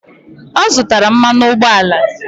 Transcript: Ọ zụtara mmanụ ụgbọala?